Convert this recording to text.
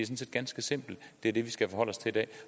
set ganske simpelt det er det vi skal forholde os til i dag